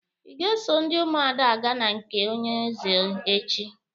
Ị ga-eso ndị Ụmụada aga na nke onye eze echi!